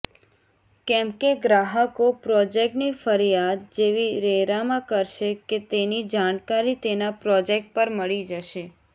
કેમકે ગ્રાહકો પ્રોજેકટની ફર્યાદ જેવી રેરામાં કરશે કે તેની જાણકારી તેના પ્રોજેકટ પર મળી જશે